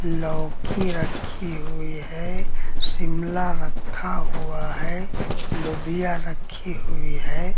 लौकी रखी हुई है शिमला रखा हुआ है लोबिया रखी हुई है।